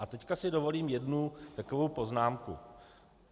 A teď si dovolím jednu takovou poznámku.